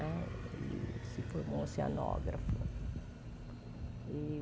Né ele se formou oceanógrafo. E